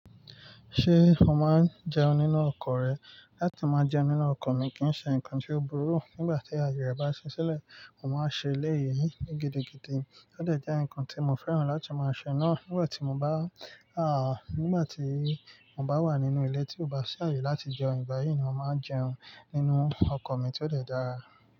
Ṣé m máa ń jẹun nínú ọkọ̀ rẹ? Láti máa jẹun nínú ọkọ̀ mi kì í ṣe nǹkan tí ó burú. Nígbà tí aye rẹ̀ bá ṣí sílẹ̀, mo máa ṣe eléyìí ní gidigidi. Ó dẹ̀ jẹ́ ǹkan tí mo fẹ́ràn láti máa ṣe náà. Nígbà tí mo bá, à, nígbà tí mo bá wà nínú ilé tí ò bá ṣàyè láti jẹun, ìgbà yìí ni mo máa jẹun nínú ọkọ̀ mi tí ó dẹ̀ dára.